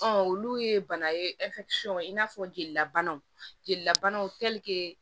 Ɔ olu ye bana ye i n'a fɔ jelila banaw jelilabanaw